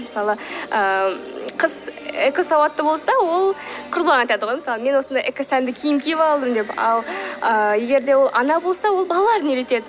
мысалы ыыы қыз экосауатты болса ол құрбыларына айтады ғой мысалы мен осындай экосәнді киім киіп алдым деп ал ыыы егер де ол ана болса ол балаларын үйретеді